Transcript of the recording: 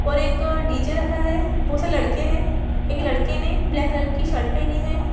और एक डी.जे. रखा है बहुत सारे लड़के है एक लड़के ने ब्लैक कलर की शर्ट पहनी है।